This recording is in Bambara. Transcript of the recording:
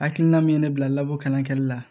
Hakilina min ye ne bila labɔ kalan kɛli la